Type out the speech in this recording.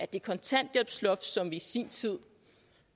det kontanthjælpsloft som vi i sin tid